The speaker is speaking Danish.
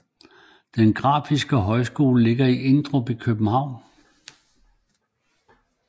Den Grafiske Højskole ligger i Emdrup i København